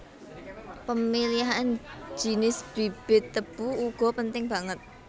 Pemilihan jinis bibit tebu uga penting banget